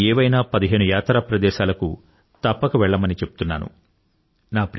భారతదేశంలోని ఏవైనా పదిహేను యాత్రా ప్రదేశాలకు తప్పక వెళ్లమని చెప్తున్నాను